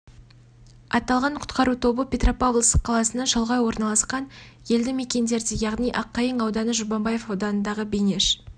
аталған құтқару тобы петропавловск қаласынан шалғай орналасқан елді мекендерде яғни аққайың ауданы жұмабаев ауданындағы бейнеш